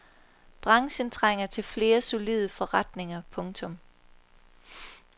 Branchen trænger til flere solide forretninger. punktum